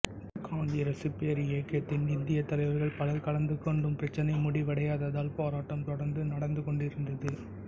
காங்கிரசு பேரியக்கத்தின் இந்தியத் தலைவர்கள் பலர் கலந்து கொண்டும் பிரச்சனை முடிவடையாததால் போராட்டம் தொடர்ந்து நடந்து கொண்டிருந்தது